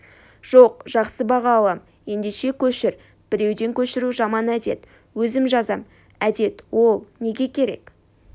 жоқ жақсы баға алам ендеше көшір біреуден көшіру жаман әдет өзім жазам әдет ол неге керек